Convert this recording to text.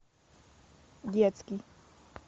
детский